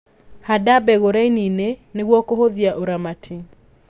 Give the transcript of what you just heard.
Handa mbegũ rainiinĩ nĩguo kũhũthia ũramati.